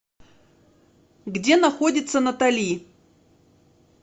где находится натали